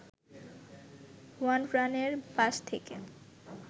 হুয়ানফ্রানের pass থেকে